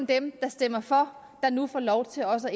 dem der stemmer for der nu får lov til også at